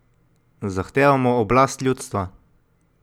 Zahtevamo oblast ljudstva!